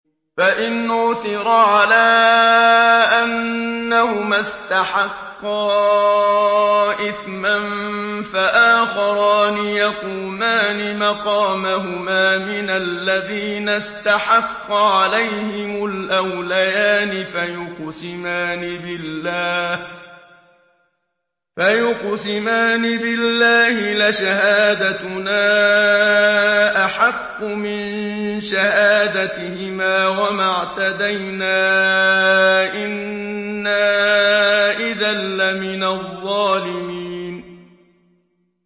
فَإِنْ عُثِرَ عَلَىٰ أَنَّهُمَا اسْتَحَقَّا إِثْمًا فَآخَرَانِ يَقُومَانِ مَقَامَهُمَا مِنَ الَّذِينَ اسْتَحَقَّ عَلَيْهِمُ الْأَوْلَيَانِ فَيُقْسِمَانِ بِاللَّهِ لَشَهَادَتُنَا أَحَقُّ مِن شَهَادَتِهِمَا وَمَا اعْتَدَيْنَا إِنَّا إِذًا لَّمِنَ الظَّالِمِينَ